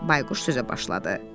Bayquş sözə başladı.